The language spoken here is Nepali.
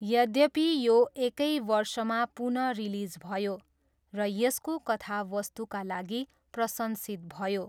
यद्यपि, यो एकै वर्षमा पुन रिलिज भयो र यसको कथावस्तुका लागि प्रशंसित भयो।